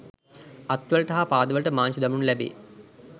අත්වලට හා පාදවලට මාංචු දමනු ලැබේ